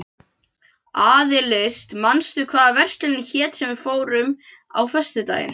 Aðils, manstu hvað verslunin hét sem við fórum í á föstudaginn?